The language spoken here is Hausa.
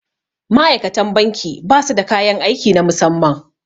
Ma'aikatan banki ba su da kayan aiki na musamman